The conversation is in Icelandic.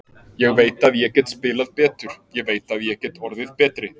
Ég veit að ég get spilað betur, ég veit að ég get orðið betri.